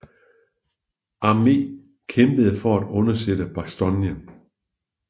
Arme kæmpede for at undsætte Bastogne